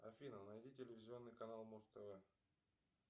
афина найди телевизионный канал муз тв